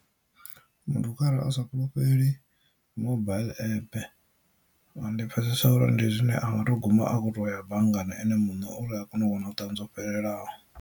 Muthu kharali a sa fhulufheli mobile app ndi pfhesesa uri ndi zwine anga to guma akho to ya banngani ene mune uri a kone u wana vhuṱanzi ho fhelelaho.